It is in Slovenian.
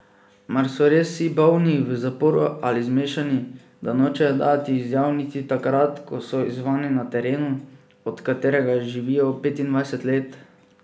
Mar so res vsi bolni, v zaporu ali zmešani, da nočejo dajati izjav niti takrat, ko so izzvani na terenu, od katerega živijo petindvajset let?